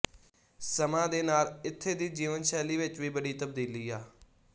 ਸਮਾਂ ਦੇ ਨਾਲ ਇੱਥੇ ਦੀ ਜੀਵਨ ਸ਼ੈਲੀ ਵਿੱਚ ਵੀ ਬਡ਼ੀ ਤਬਦੀਲੀ ਆ